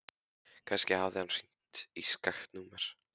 Kannski hafði hann hringt í skakkt númer.